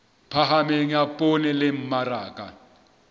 phahameng ya poone le mmaraka